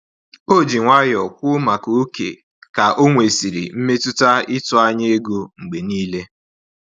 O ji nwayọ kwuo maka ókè ka onwesiri mmetụta ịtụ anya ego mgbe niile